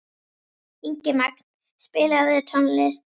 Ingimagn, spilaðu tónlist.